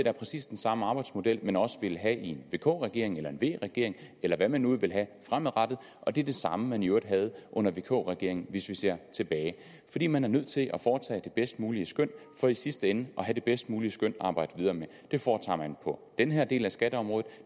er præcis den samme arbejdsmodel man også ville have i en vk regering eller i en v regering eller hvad man nu vil have fremadrettet og det er det samme man i øvrigt havde under vk regeringen hvis vi ser tilbage fordi man er nødt til at foretage det bedst mulige skøn for i sidste ende at have det bedst mulige skøn at arbejde videre med det foretager man på den her del af skatteområdet